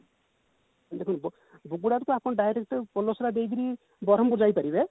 ବୁଗୁଡା ରୁ ତ ଆପଣ direct ପୋଲସରା ଦେଇକିରି ବରମ୍ପୁର ଯାଇପାରିବେ